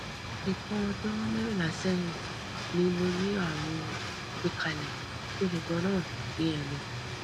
ìtàn ọjọ mẹrìnlá sẹyìn ni mo ní àrùn gbẹkálẹ tó le ganan ní ẹnu